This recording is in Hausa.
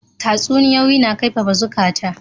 Tatsuniyoyi na kaifafa zukata.